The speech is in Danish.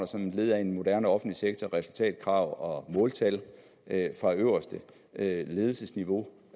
som led i en moderne offentlig sektor resultatkrav og måltal fra øverste ledelsesniveau